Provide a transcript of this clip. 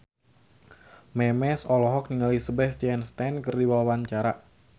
Memes olohok ningali Sebastian Stan keur diwawancara